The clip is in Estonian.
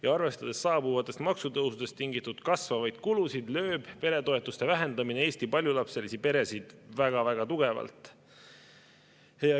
Ja arvestades saabuvatest maksutõusudest tingitud kasvavaid kulusid, lööb peretoetuste vähendamine Eesti paljulapselisi peresid väga-väga tugevalt.